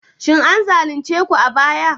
Shin an zalunce ku a baya?